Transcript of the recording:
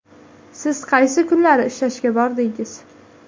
Siz qaysi kunlari ishlashga bordingiz?